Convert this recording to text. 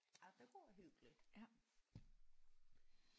Ja det kunne være hyggeligt